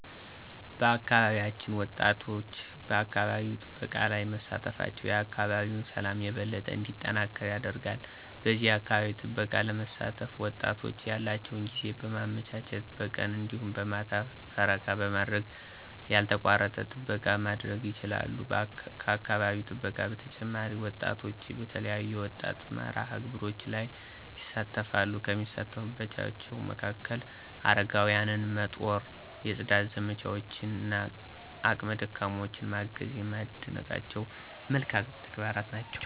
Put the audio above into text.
በአካባቢያችን ወጣቶች በአካባቢ ጥበቃ ላይ መሳተፋቸው የአካባቢን ሠላም የበለጠ እንዲጠናከር ያደርጋል። በዚህ የአካባቢ ጥበቃ ለመሳተፍ ወጣቶች ያላቸውን ጊዜ በማመቻቸት በቀን እንዲሁም በማታ ፈረቃ በማድረግ ያልተቋረጠ ጥበቃ ማድረግ ይችላሉ። ከአካባቢ ጥበቃ በተጨማሪ ወጣቶች በተለያዩ የወጣት መርሃ-ግብሮች ላይ ይሣተፈሉ፤ ከሚሳተፉባቸው መካከል፦ አረጋውያንን መጦር፣ የፅዳት ዘመቻዎች እና አቅመ ደካሞችን ማገዝ የማደንቃቸው መልካም ተግባራት ናቸው።